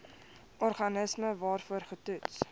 organisme waarvoor getoets